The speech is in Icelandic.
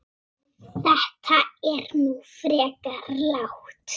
Þetta er nú frekar lágt